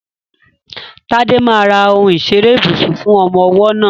Tade máa ra ohun ìṣeré ibùsùn fún ọmọ ọwọ́ náà.